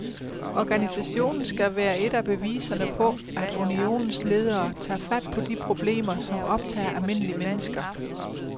Organisationen skal være et af beviserne på, at unionens ledere tager fat på de problemer, som optager almindelige mennesker.